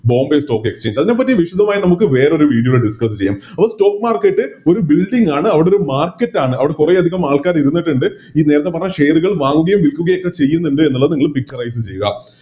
Bombay stock exchange അതിനെപറ്റി വിശദമായി നമുക്ക് വേറൊരു Video ല് Discuss ചെയ്യാം അപ്പൊ Stock market ഒരു Building ആണ് അവിടൊരു Market ആണ് അവിടെ കൊറേയധികം ആൾക്കാരിരുന്നിട്ടുണ്ട് ഈ നേരത്തെ പറഞ്ഞ Share കള് വാങ്ങുകയും വിൽക്കുകയും ഒക്കെ ചെയ്യുന്നുണ്ട് എന്നുള്ളത് നിങ്ങള് ആരിക്കും ചെയ്യാ